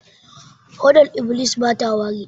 Hodar iblis bata wari